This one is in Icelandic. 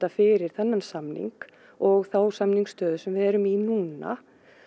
fyrir þennan samning og þá samningsstöðu sem við erum í núna